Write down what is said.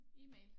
E-mail